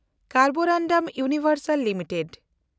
ᱠᱮᱱᱰᱵᱳᱨᱚᱱᱰᱚᱢ ᱤᱣᱱᱤᱵᱷᱮᱱᱰᱥᱟᱞ ᱞᱤᱢᱤᱴᱮᱰ